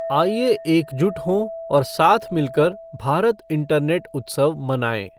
आइए एकजुट हों और साथ मिलकर भारत इंटरनेट उत्सव मनाएं।